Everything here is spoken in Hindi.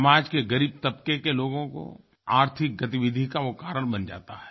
समाज के ग़रीब तबक़े के लोगों की आर्थिक गतिविधि का वो कारण बन जाता है